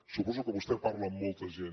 suposo que vostè parla amb molta gent